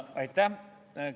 Aitäh!